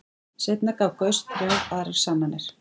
Seinna gaf Gauss þrjár aðrar sannanir.